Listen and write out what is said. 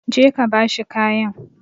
Go and give him the cloth!